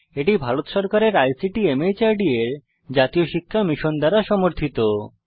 এটি ভারত সরকারের আইসিটি মাহর্দ এর জাতীয় শিক্ষা মিশন দ্বারা সমর্থিত